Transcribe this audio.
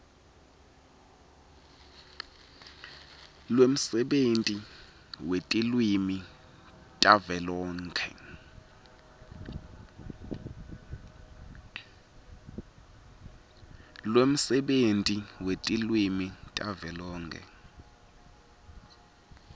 lwemsebenti wetilwimi tavelonkhe